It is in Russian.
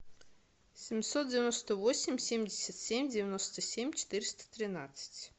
семьсот девяносто восемь семьдесят семь девяносто семь четыреста тринадцать